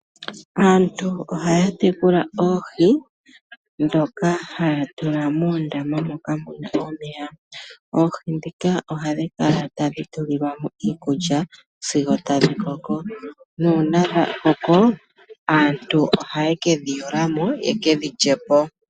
Aantu ohaya tekula oohi dhoka haya tula moondama moka muna omeya. Oohi dhika ohadhi kala tadhi tulilwamo iikulya sigo tadhi koko. Nuuna dha koko aantu ohaye kedhi yulamo yekedhi lyepo.